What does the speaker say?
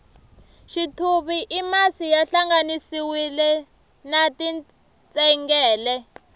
xithuvi i masi ya hlanganisiwile na tintsengele